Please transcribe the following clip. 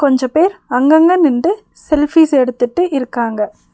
கொஞ்ச பேர் அங்கங்க அங்கங்க நின்னுட்டு செல்ஃபிஸ் எடுத்துட்டு இருக்காங்க.